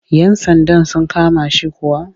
Yan sandan sun kama shi kuwa?